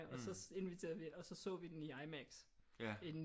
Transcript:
Og så inviterede vi og så så vi den i IMAX